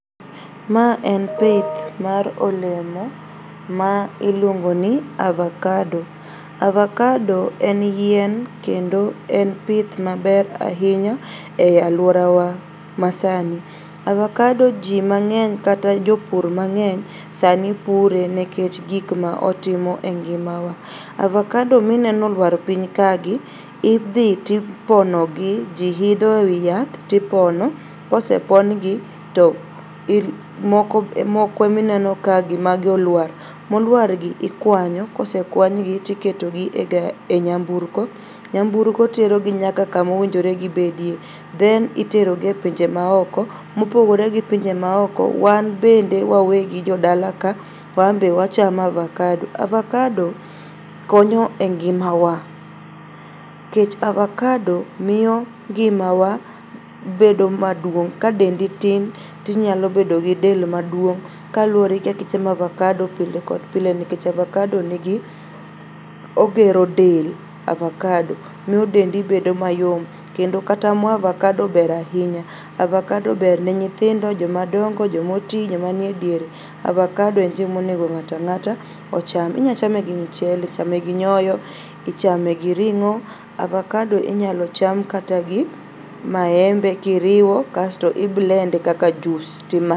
Ma en pith mar olemo ma iluongoni avakado. Avakado en yien kendo en pith maber ainya e aluorawa masani. Avakado jii mang'eny kata jopur mang'eny sani pure nekech gikmaotimo e ngimawa. Avakado mineno oluar piny kagi idhi tipono gi, jii idho e wii yath tipono. Kosepongi to moko emineno kagi mago oluar. Moluargi ikuanyo, kosekuanygi tiketogi e nyamburko. Nyamburko terogi nyaka kumonegowinjore gibedie then iterogi e pinje maoko, mopogore gi pinje maoko wan bende wawegi jodala ka wanbe wachamo avakado. Avakado konyo e ngimawa kech avakado miyo ngimawa bedo maduong' ka dendi tin tinyalobedo gi del maduong' kaluore kaka ichamo avakado pile kod pile kech avakado nigi, ogero del, avakado miyo dendi bedo mayom kendo kata moo avakado ber ainya. Avakado berne nyithindo, jomadongo, jomotii, jomanie diere. Avakado en chiemo monego ng'atang'ata ocham. Inyachame gi mchele, ichame gi nyoyo, ichame gi ring'o. Avakado inyalo cham kata gi maembe kiriwo kasto i blend e kaka jus timadhe.